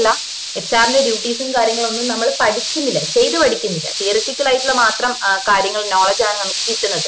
അല്ല HR ന്റെ duties ഉം കാര്യങ്ങളൊന്നും നമ്മള് പഠിക്കുന്നില്ല ചെയ്തു പഠിക്കുന്നില്ല theoritical ആയിട്ടുള്ള മാത്രം കാര്യങ്ങള് knowledge ആണ് നമുക്ക് കിട്ടുന്നത്